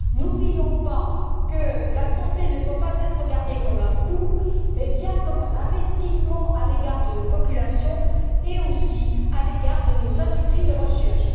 N'oublions pas que la santé ne doit pas être considérée comme un coût, mais bien comme un investissement à l'égard de nos populations et aussi à l'égard de nos industries de recherche.